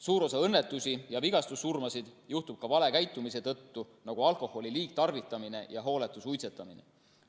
Suur osa õnnetusi ja vigastussurmasid juhtub vale käitumise tõttu, nagu alkoholi liigtarvitamine ja hooletu suitsetamine.